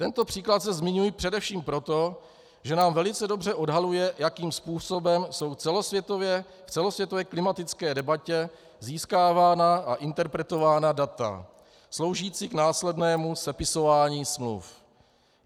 Tento příklad zde zmiňuji především proto, že nám velice dobře odhaluje, jakým způsobem jsou v celosvětové klimatické debatě získávána a interpretována data sloužící k následnému sepisování smluv.